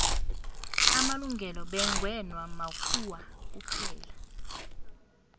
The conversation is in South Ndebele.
amalungelo bekngewa makhuwa kuphela